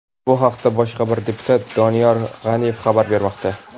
Bu haqda boshqa bir deputat Doniyor G‘aniyev xabar bermoqda.